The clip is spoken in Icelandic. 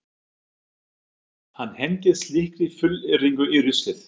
Hann hendir slíkri fullyrðingu í ruslið.